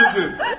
O öldürdü.